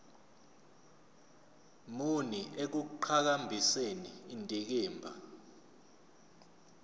muni ekuqhakambiseni indikimba